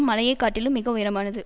மலையை காட்டிலும் மிக உயரமானது